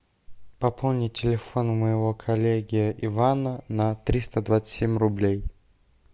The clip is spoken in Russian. пополни телефон моего коллеги ивана на триста двадцать семь рублей